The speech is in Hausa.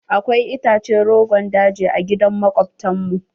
Akwai itace rogon daji a gidan makobtan mu.